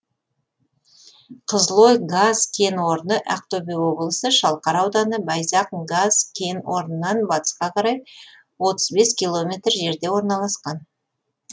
қызылой газ кен орны ақтөбе облысы шалқар ауданы байзақ газ кен орнынан батысқа қарай отыз бес километр жерде орналасқан